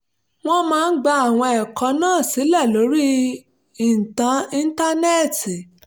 wọ́n máa ń gba àwọn ẹ̀kọ́ náà sílẹ̀ lórí íńtánẹ́ẹ̀tì